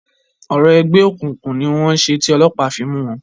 Orò ẹgbẹ́ òkùnkùn ni wọ́n ṣe ti ọlọ́pàá fi mú wọn.